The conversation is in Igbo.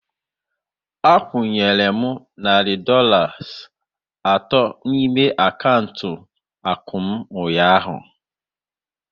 A kwunyere m narị Dọlas atọ n'ime akaụntụ akụ m ụnyaahụ